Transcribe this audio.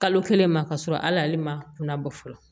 Kalo kelen ma k'a sɔrɔ hal'ale ma kunna bɔ fɔlɔ